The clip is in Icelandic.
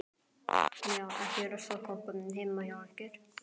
Já, er ekki ruslakompa heima hjá ykkur.